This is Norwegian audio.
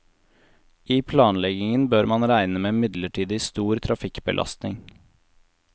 I planleggingen bør man regne med midlertidig stor trafikkbelastning.